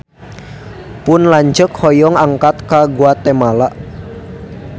Pun lanceuk hoyong angkat ka Guatemala